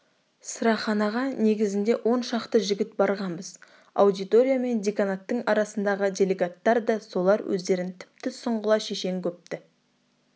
сыраханаға негізінде оншақты жігіт барғанбыз аудитория мен деканаттың арасындағы делегаттар да солар өздерін тіпті сұңғыла-шешен көпті